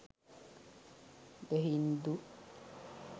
the hindu